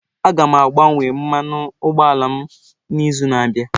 Aga m agbanwe mmanụ ụgbọ ala m n'izu na-abịa.